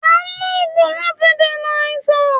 À n lògùn láti fi dènà àìsàn